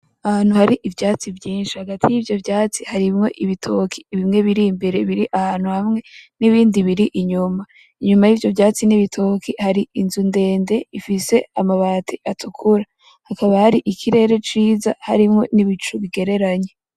Ahantu hari ivyatsi vyishi hagati y'ivyo vyatsi haateyemwo ibigori bimwe biri imbere biri ahantu hamwe n'ibindi biri inyuma inyuma y'ivyo vyatsi n'ibitoki hari inzu ndede ifise amabati atukura hakaba hari ikirere ciza harimwo ibicu bigereranye.